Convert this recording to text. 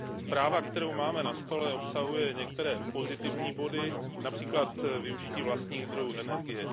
Zpráva, kterou máme na stole, obsahuje některé pozitivní body, například využití vlastních zdrojů energie.